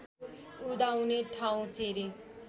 उदाउने ठाउँ चेरे